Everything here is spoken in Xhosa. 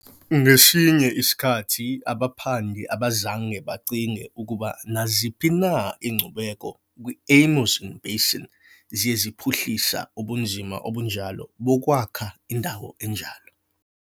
Ngesinye isikhathi, abaphandi abazange bacinge ukuba naziphi na iinkcubeko kwi-Amazon Basin ziye zaphuhlisa ubunzima obunjalo bokwakha indawo enjalo.